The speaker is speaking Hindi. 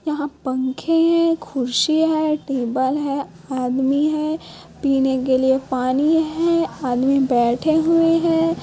यहाँ पंखे है कुर्सी है टेबल है आदमी है पीने के लिए पानी है आदमी बैठे हुए है।